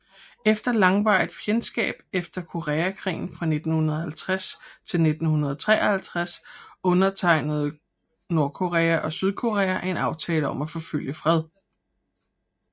Efter langvarigt fjendskab efter koreakrigen fra 1950 til 1953 undertegnede Nordkorea og Sydkorea en aftale om at forfølge fred